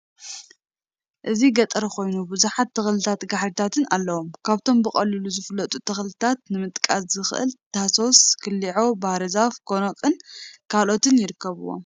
እዚ ገጠር ኮይኑ ብዙሓት ተክሊታትን ጋሕሪታትን አለዉ፡፡ ካብቶም ብቀሊሉ ዝፍለጡ ተክሊታት ንመጥቃስ ዝአከል ታሶስ፣ ኩሊዖ፣ ባህርዛፍ ፣ ጎኖቅን ካልኦትን ይርከቡዎም፡፡